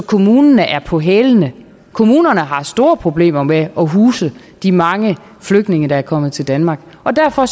kommunerne er på hælene kommunerne har store problemer med at huse de mange flygtninge der er kommet til danmark og derfor